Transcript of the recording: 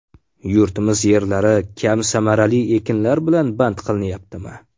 Yurtimiz yerlari kam samarali ekinlar bilan band qilinyaptimi?